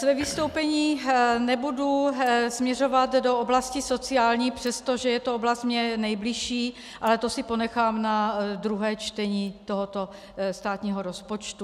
Své vystoupení nebudu směřovat do oblasti sociální, přestože je to oblast mně nejbližší, ale to si ponechám na druhé čtení tohoto státního rozpočtu.